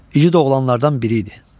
İgid oğlanlardan biri idi.